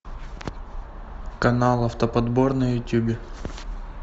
канал автоподбор на ютубе